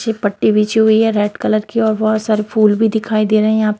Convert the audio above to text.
नीचे पट्टी बिछी हुई है रेड कलर की और बहुत सारे फूल भी दिखाई दे रहें हैं यहाँ प--